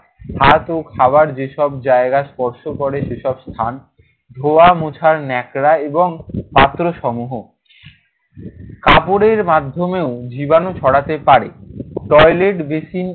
হাত ও খাবার যেসব জায়গা স্পর্শ করে সেসব স্থান ধোয়া মোছার নেকড়া এবং পাত্রসমূহ কাপড়ের মাধ্যমেও জীবাণু ছড়াতে পারে। Toilet, basin